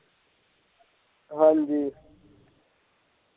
ਹਾਂਜੀ।